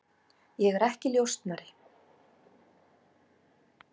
Ég er ekki njósnari.